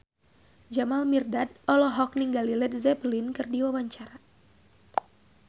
Jamal Mirdad olohok ningali Led Zeppelin keur diwawancara